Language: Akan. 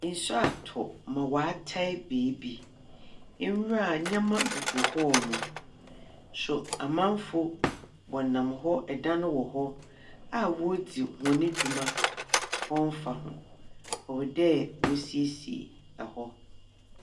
Nsu atɔ ma wɔatae beebi. Mmerɛ a nyama gugu hɔnom, nso amanfoɔ wɔnam hɔ, dan wɔ hɔ a wɔredzi hɔn dwuma, wɔmfa ho. Ɛwɔ dɛ wɔsiesie hɔ.